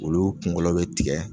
Olu kunkolo bi tigɛ